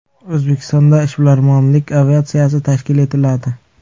O‘zbekistonda ishbilarmonlik aviatsiyasi tashkil etiladi.